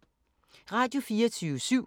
Radio24syv